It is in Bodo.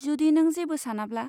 जुदि नों जेबो सानाब्ला।